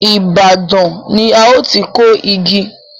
Ibadan ni a ó ti kó igi